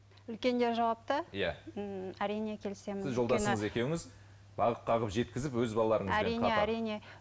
үлкендер жауапты иә ііі әрине келісемін бағып қағып жеткізіп өз балаларыңызбен